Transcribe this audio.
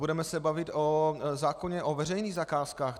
Budeme se bavit o zákoně o veřejných zakázkách.